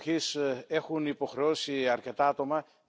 Es ist höchste Zeit, das endlich zu tun.